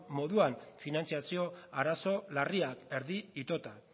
moduan finantzazio arazo larriekin erdi itota